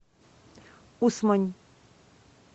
усмань